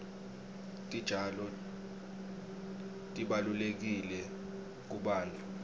titjalo tibalulekile kubantfu